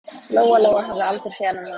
Lóa-Lóa hafði aldrei séð þennan mann.